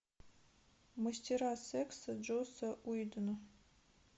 мастера секса джосса уидона